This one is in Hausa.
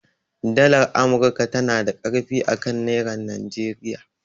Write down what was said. Dalar amurka tanada ƙarfi akan nerar Nigeria